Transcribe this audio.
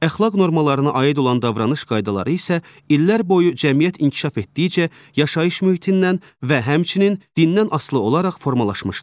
Əxlaq normalarına aid olan davranış qaydaları isə illər boyu cəmiyyət inkişaf etdikcə yaşayış mühitindən və həmçinin dindən asılı olaraq formalaşmışdır.